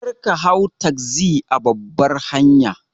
Karka hau tagzi a babbar hanya.